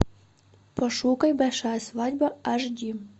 пошукай большая свадьба аш ди